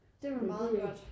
Det var meget godt